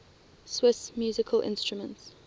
swiss musical instruments